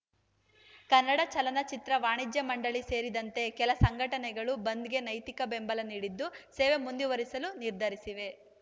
ಕನ್ನಡ ಚಲನಚಿತ್ರ ವಾಣಿಜ್ಯ ಮಂಡಳಿ ಸೇರಿದಂತೆ ಕೆಲ ಸಂಘಟನೆಗಳು ಬಂದ್‌ಗೆ ನೈತಿಕ ಬೆಂಬಲ ನೀಡಿದ್ದು ಸೇವೆ ಮುಂದುವರಿಸಲು ನಿರ್ಧರಿಸಿವೆ